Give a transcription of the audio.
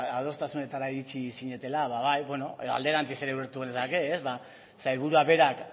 adostasunetara iritsi zinetela bai beno alderantziz ere ulertu genezake sailburuak berak